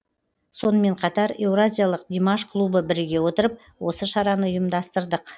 сонымен қатар еуразиялық димаш клубы біріге отырып осы шараны ұйымдастырдық